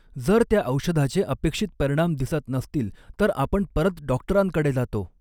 जर त्या औषधाचे अपेक्षित परिणाम दिसत नसतील तर आपण परत डॉक्टरांकडे जातो.